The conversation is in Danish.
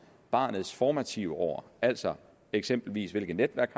barnets formative år altså eksempelvis hvilke netværk